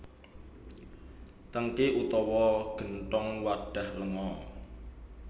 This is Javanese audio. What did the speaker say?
Tèngki utawa genthong wadhah lenga